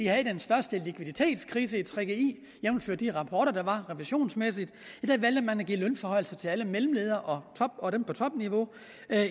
havde den største likviditetskrise jævnfør de rapporter der var revisionsmæssigt ja da valgte man at give lønforhøjelser til alle mellemledere og dem på topniveau